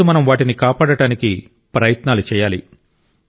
ఈ రోజు మనం వాటిని కాపాడటానికి ప్రయత్నాలు చేయాలి